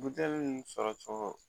Buteli nunnu sɔrɔ cogo